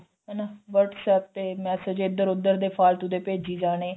ਹਨਾ WhatsApp ਤੇ massage ਇੱਧਰ ਉੱਧਰ ਦੇ ਪੇਜੀ ਜਾਣੇ